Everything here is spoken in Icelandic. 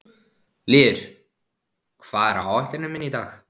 Lýður, hvað er á áætluninni minni í dag?